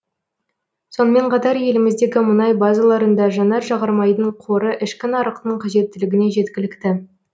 сонымен қатар еліміздегі мұнай базаларында жанар жағармайдың қоры ішкі нарықтың қажеттілігіне жеткілікті